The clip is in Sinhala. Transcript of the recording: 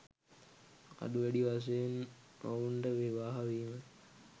අඩු වැඩි වශයෙන් ඔවුන්ට විවාහ වීම